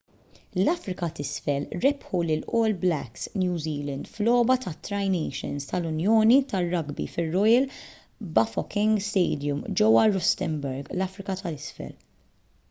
l-afrika t’isfel rebħu lill-all blacks new zealand f’logħba tat-tri nations tal-unjoni tar-rugby fir-royal bafokeng stadium ġewwa rustenburg l-afrika t’isfel